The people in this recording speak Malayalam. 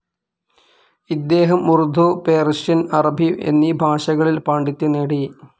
ഇദ്ദേഹം ഉർദു, പേർഷ്യൻ‍, അറബി എന്നീ ഭാഷകളിൽ പാണ്ഡിത്യം നേടി.